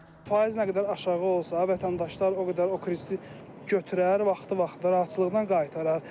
Faiz nə qədər aşağı olsa, vətəndaşlar o qədər o krediti götürər, vaxtı vaxtında rahatçılıqla qaytarar.